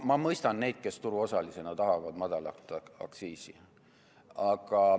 Ma mõistan neid, kes turuosalisena tahavad madalat aktsiisi.